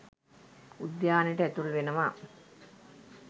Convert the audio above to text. උද්‍යානයට ඇතුල් වෙනවා